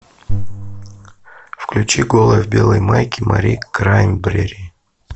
включи голая в белой майке мари краймбрери